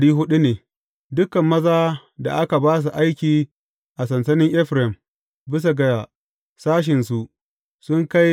Yawan mutanen sashensa ne Dukan mazan da aka ba su aiki a sansanin Efraim, bisa ga sashensu su kai